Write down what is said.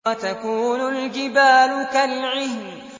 وَتَكُونُ الْجِبَالُ كَالْعِهْنِ